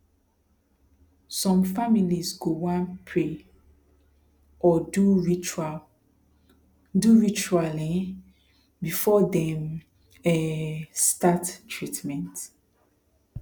some families go wan pray or do ritual do ritual um before dem um start treatment